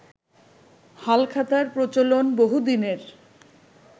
হালখাতার প্রচলন বহুদিনের